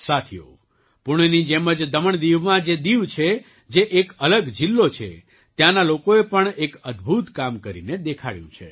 સાથીઓ પૂણેની જેમ જ દમણદીવમાં જે દીવ છે જે એક અલગ જિલ્લો છે ત્યાંના લોકોએ પણ એક અદ્ભુત કામ કરીને દેખાડ્યું છે